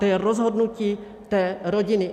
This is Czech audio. To je rozhodnutí té rodiny.